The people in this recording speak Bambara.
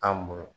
An muɲa